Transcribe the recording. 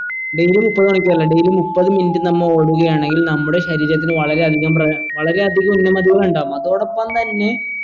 daily മുപ്പത് മണിക്കൂറല്ല daily മുപ്പത് minute നമ്മ ഓടുകയാണെങ്കിൽ നമ്മുടെ ശരീരത്തിന് വളരെ അധികം പ്ര വളരെ അധികം ഉന്നമതികൾ ഉണ്ടാകും അതോടപ്പം തന്നെ